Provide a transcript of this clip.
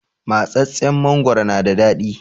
Matsatstsen mangoro na da daɗi